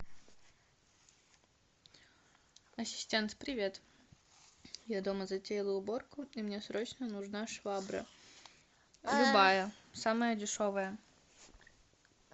ассистент привет я дома затеяла уборку и мне срочно нужна швабра любая самая дешевая